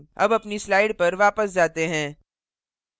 अब अपनी slides पर वापस जाते हैं